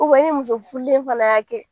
ni muso furulen fana y' kɛ.